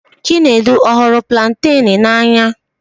Chinedu ọ̀ hụrụ planten n'anya?